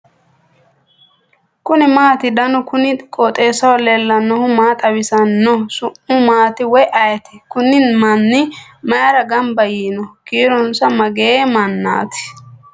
kuni maati ? danu kuni qooxeessaho leellannohu maa xawisanno su'mu maati woy ayeti ? kuni manni mayra gamba yiino ? kiironsa magee mannati ?